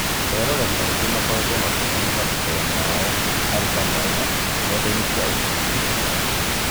Eroreri aingĩ makoretwo makĩonania matũkũya mao harĩ Kamau nendainĩ cia ũkinyanĩria.